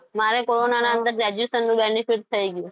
મારે કોરોના ની અંદર graduation નું benefit થઈ ગયું.